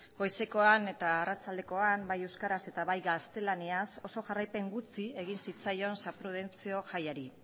goizekoan eta arratsaldekoan bai euskaraz eta bai gaztelaniaz oso jarraipen gutxi egin zitzaion san prudentzio jaiari